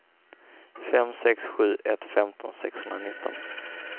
fem sex sju ett femton sexhundranitton